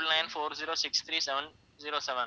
triple nine four zero six three seven zero seven